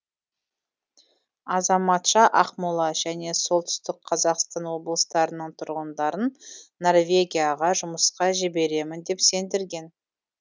азаматша ақмола және солтүстік қазақстан облыстарының тұрғындарын норвегияға жұмысқа жіберемін деп сендірген